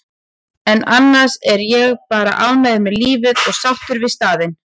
en annars er ég bara ánægður með lífið og sáttur við staðinn.